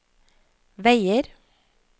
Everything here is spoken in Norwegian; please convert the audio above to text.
veier